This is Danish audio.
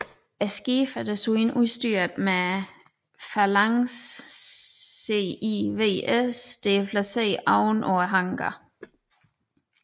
Skibene er desuden udstyret med en Phalanx CIWS der er placeret oven på hangaren